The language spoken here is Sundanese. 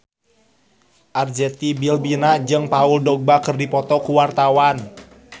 Arzetti Bilbina jeung Paul Dogba keur dipoto ku wartawan